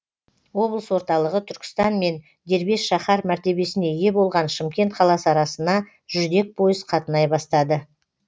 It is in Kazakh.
облыс орталығы түркістан мен дербес шаһар мәртебесіне ие болған шымкент қаласы арасына жүрдек пойыз қатынай бастады